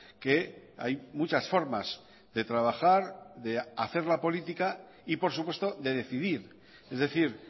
que hay muchas formas de trabajar de hacer la política y por supuesto de decidir es decir